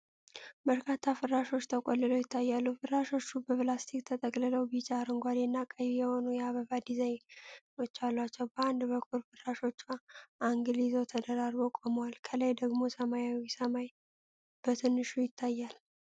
በርካታ ፍራሾች ተቆልለው ይታያሉ። ፍራሾቹ በፕላስቲክ ተጠቅልለው ቢጫ፣ አረንጓዴና ቀይ የሆኑ የአበባ ዲዛይኖች አሏቸው። በአንድ በኩል ፍራሾቹ አንግል ይዘው ተደራርበው ቆመዋል፤ ከላይ ደግሞ ሰማያዊው ሰማይ በትንሹ ይታያል።